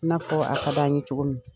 I n'a fɔɔ a kad'an ye cogo min.